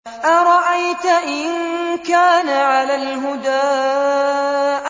أَرَأَيْتَ إِن كَانَ عَلَى الْهُدَىٰ